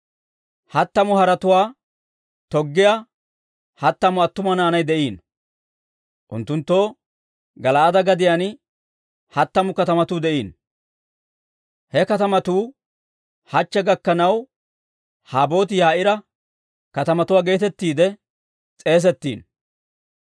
Hattamu haretuwaa toggiyaa hattamu attuma naanay de'iino; unttunttoo Gala'aade gadiyaan hattamu katamatuu de'iino. He katamatuu hachche gakkanaw Haboot-Yaa'iira katamatuwaa geetettiide s'eesettiino.